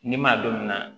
Ni maa don na